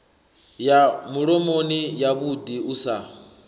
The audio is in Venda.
ya mulomoni yavhuḓi u sa